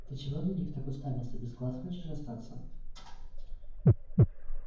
ты чего на них так уставился без глаз хочешь остаться